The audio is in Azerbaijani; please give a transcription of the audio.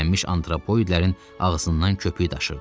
Qəzəblənmiş antropoidlərin ağzından köpük daşırdı.